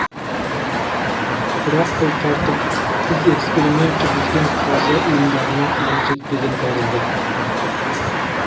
бірақ бұл тәртіп біз эксперимент жүргізген қаржы ұйымдарына әлі жетпеген тәрізді